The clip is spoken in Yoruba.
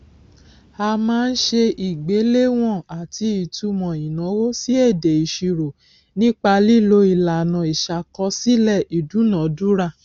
a máa ń ṣe ìgbéléwọn àti ìtumò ìnáwó sí èdè ìṣirò nípa lílo ìlànà ìṣàkọsílẹ ìdúnadúrà